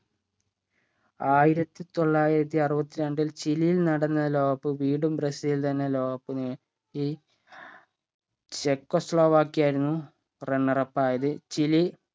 ആയിരത്തി തൊള്ളായിരത്തി അറുവത്തിരണ്ടിൽ ചിലിയിൽ നടന്ന ലോക cup വീണ്ടും ബ്രസീൽ തന്നെ ലോക cup നേ ടി ചെക്കോസ്ലോവാക്യയായിരുന്നു runner up ആയത് ചിലി